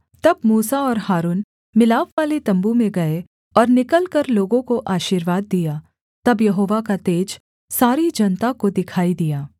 तब मूसा और हारून मिलापवाले तम्बू में गए और निकलकर लोगों को आशीर्वाद दिया तब यहोवा का तेज सारी जनता को दिखाई दिया